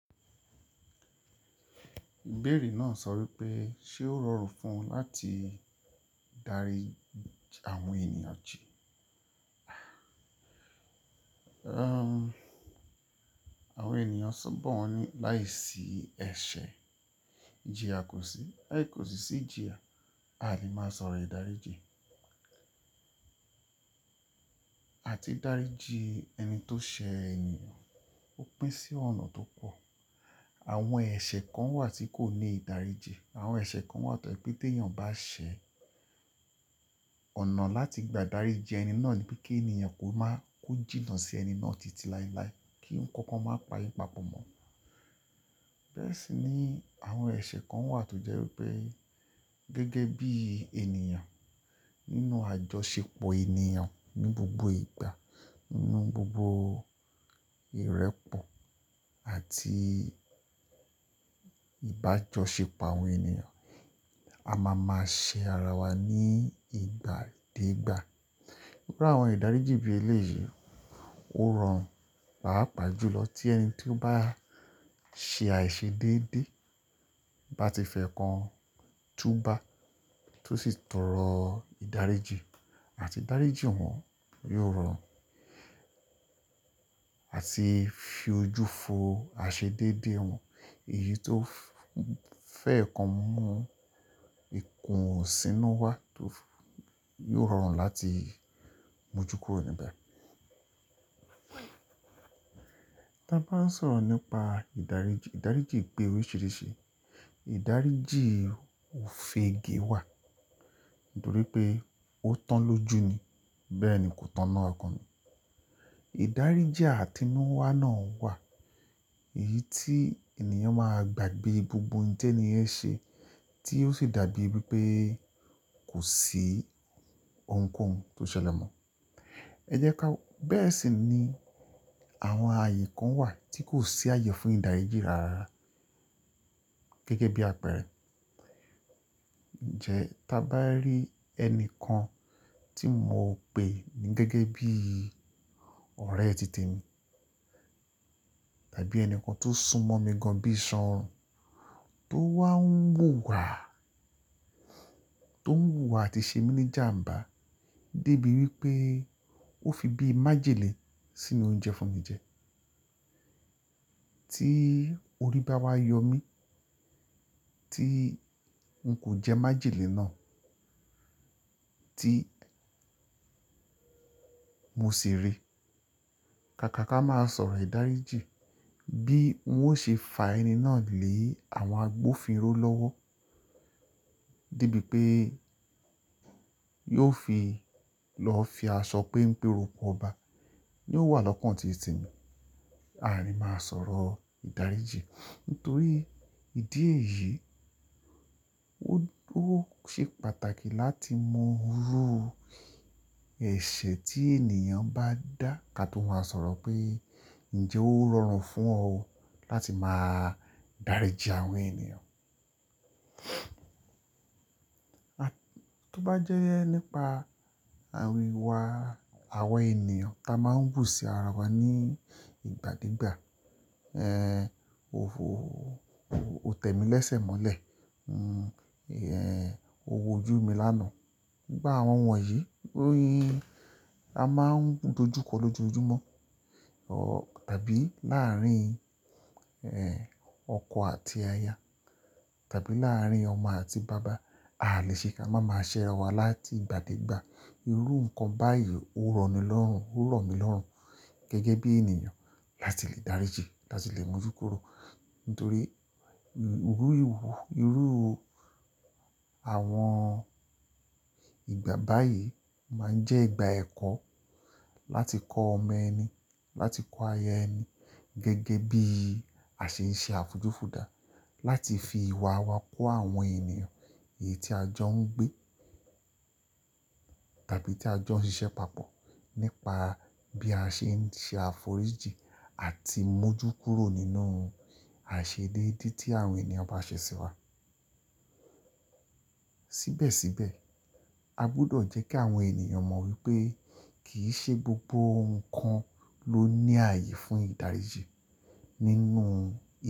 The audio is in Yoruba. Ibẹ́re náà sọ wípé ṣe ó rọrùn fún un láti darí àwọn ènìyàn jí. Àwọn ènìyàn sábo wọ́n ní láìsí ẹ̀ṣẹ̀ ijíyà kọsí, láì kò sí sí íjiya, a lè máa sọ̀rọ̀ ìdáríjì. Àti daríji ẹni tó ṣe ẹni ó pín sí ọ̀nà tó pọ̀. Àwọn ẹ̀ṣẹ̀ kan wà tí kò ní ìdáríjì, àwọn ẹ̀ṣẹ̀ kan wà tó jẹ́ pé tí èèyàn bá ṣe ọ̀nà láti gba daríji ẹni náà ni pé kí èèyàn kó máa ko jìnnà sí ẹni náà titi lailai kí n kankan máa pa'yin papọ̀ mọ́. Bẹ́ẹ̀ sì ni àwọn ẹ̀ṣẹ̀ kan wà tó jẹ́ wípé gẹ́gẹ́ bí èèyàn nínú àjọṣepọ̀ ènìyàn ní gbogbo ìgbà, nínú gbogbo ìrẹ́pọ̀ àti ìbájọ́ṣepọ̀ àwọn ènìyàn, a máa máa ṣe ara wa ní ìgbà dé ìgbà. Iru àwọn ìdáríjì bí eléyìí ó rọrùn, pà á pà jùlọ tí ẹni tí ó bá ṣe àìṣedédé bá ti fẹ́ kan tú bá tó sì tọrọ ìdáríjì àti daríji wòn yóò rọrùn àti fi ojú fo àìṣedédé wòn èyí tó fẹ́ kan mú ikùn sínú wá tó yóò rọrùn láti mójú kúrò níbẹ̀. Ta bá ń sọ̀rọ̀ nípa ìdáríjì, ìdáríjì pé oríṣìíríṣìí. Ìdáríjì òfege wà nítorí pé ó tán lóju ni bẹ́ẹ̀ ni kò tán lọ́ọ̀kan ni. Ìdáríjì àtinúwá náà wà èyí tí èniyàn máa gbàgbé gbogbo ohun tí ẹni yẹn ṣe tí ó sì dàbí wípé kò sí ohunkóhun tó ṣẹlẹ̀ mọ́. Ẹ jẹ́ ká, bẹ́ẹ̀ sì ni àwọn ààyè kan wà tí kò sí ààyè fún ìdáríjì rárá gẹ́gẹ́ bí àpẹẹrẹ. Ǹjẹ́ ta a bá rí ẹni kan tí mo pè ní gẹ́gẹ́ bí ọ̀rẹ́ tite mi, tàbí ẹni kan tó sún mọ́ mi gan bí iṣan orun tó wá ń wù wà, tó ń wù wà àti ṣe mí ní jàǹbá dé bí wípé ó fi bí i májèlè sínú oúnjẹ fún mi jẹ. Tí orí bá wá yọ mí tí ń kò jẹ́ májèlè náà tí mo sì rí. Kàkà ká máa sọ̀rọ̀ ìdáríjì bí wọn ó ṣe fà ẹni náà lé àwọn agbófinró lọ́wọ́. Dé bí pé yóò fi lọ fi aṣọ pé ń pe rokọ ọba ní ó wà lọ́kàn ti tẹ́ mi. A lè máa sọ̀rọ̀ ìdáríjì. Nítorí ìdí èyí, ó ṣe pàtàkì láti mọ irú ẹ̀ṣẹ̀ tí èniyàn bá dá ká tó máa sọ̀rọ̀ pé ǹjẹ́ ó rọrùn fún ọ láti máa daríji àwọn ènìyàn. Tó bá jẹ́ nípa àwọn ìwà àwọn ènìyàn tí a máa ń wù sí ara wa ní ìgbà dé ìgbà. Ẹ̀, ò tẹ́mi lẹ́sẹ̀ mọ́lẹ̀, ẹ̀, owó ojú mi lánàá. Gbogbo àwọn wọ̀nyí, a máa ń dojú kọ lójoojúmọ́ tàbí láàárín ọkọ àti aya tàbí láàárín ọmọ àti bàbá. A lè ṣe ká máa máa ṣẹ́ ara wa láti ìgbà dé ìgbà. Irú nǹkan báyìí ó rọni lọ́rùn, ó rọ̀ mí lọ́rùn gẹ́gẹ́ bí èniyàn láti lè dáríjì, láti lè mójú kúrò. Nítorí irú ìwú, irú àwọn ìgbà báyìí máa ń jẹ́ ìgbà ẹ̀kọ́ láti kọ ọmọ ẹni, láti kọ aya ẹni gẹ́gẹ́ bí a ṣe ń ṣe àfujòfùdà láti fi ìwà wa kó àwọn ènìyàn èyí tí a jọ ń gbé tàbí tí a jọ ń ṣiṣẹ́ papọ̀ nípa bí a ṣe ń ṣe àforíjì àti mójú kúrò nínú àìṣedédé tí àwọn ènìyàn bá ṣe sí wa. Síbẹ̀síbẹ̀ a gbudọ̀ jẹ́ kí àwọn ènìyàn mọ̀ wípé kì í ṣe gbogbo ohun kan ló ní ààyè fún ìdáríjì nínú.